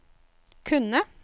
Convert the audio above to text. kunne